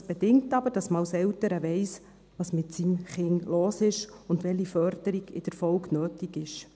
Es bedingt aber, dass man als Eltern weiss, was mit dem eigenen Kind los ist und welche Förderung in der Folge nötig ist.